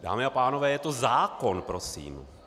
Dámy a pánové, je to zákon prosím.